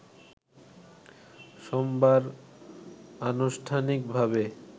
সোমবার আনুষ্ঠানিকভাবে